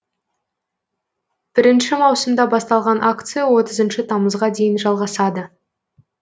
бірінші маусымда басталған акция отызыншы тамызға дейін жалғасады